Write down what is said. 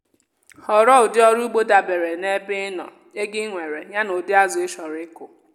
họrọ ụdị ọrụ ugbo dabere na ebe ị nọ ego i nwere yá na ụdị azụ ịchọrọ ịkụ.